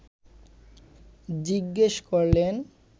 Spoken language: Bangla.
জিজ্ঞেস করলেন